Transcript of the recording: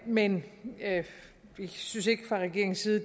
men vi synes ikke fra regeringens side